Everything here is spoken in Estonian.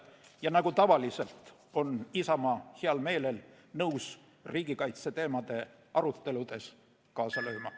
Ja nagu tavaliselt, on Isamaa heal meelel nõus riigikaitseteemade aruteludes kaasa lööma.